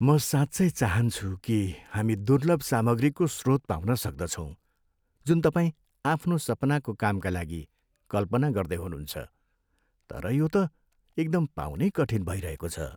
म साँच्चै चाहान्छु कि हामी दुर्लभ सामग्रीको स्रोत पाउन सक्दछौँ जुन तपाईँ आफ्नो सपनाको कामका लागि कल्पना गर्दै हुनुहुन्छ, तर यो त एकदम पाउनै कठिन भइरहेको छ।